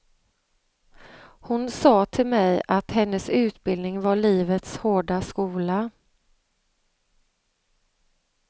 Hon sa till mig att hennes utbildning var livets hårda skola.